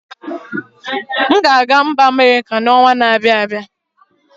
M ga-aga Amerika n'ọnwa na-abịa.